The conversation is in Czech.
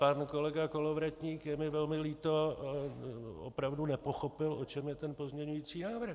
Pan kolega Kolovratník, je mi velmi líto, opravdu nepochopil, o čem je ten pozměňující návrh.